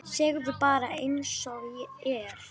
Segðu bara einsog er.